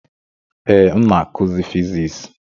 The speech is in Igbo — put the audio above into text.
Ee, m na-akụzi Fiziks.